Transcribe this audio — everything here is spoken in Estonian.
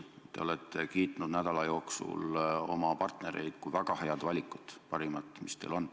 Te olete nädala jooksul oma partnereid kiitnud kui väga head valikut, parimat, mis teil on.